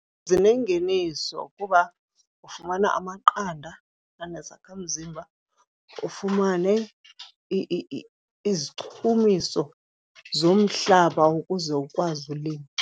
Zinengeniso kuba ufumana amaqanda enezakhamzimba, ufumane izichumiso zomhlaba ukuze ukwazi ulima.